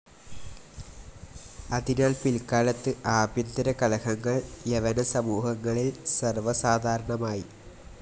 അതിനാൽ പിൽക്കാലത്ത് ആഭ്യന്തരകലഹങ്ങൾ യവനസമൂഹങ്ങളിൽ സർവ്വസാധാരണമായി.